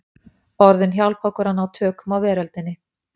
Orðin hjálpa okkur að ná tökum á veröldinni.